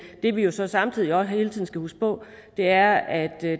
det vi jo så samtidig også hele tiden skal huske på er at